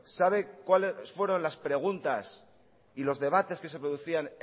sabe cuáles fueron las preguntas y los debates que se producían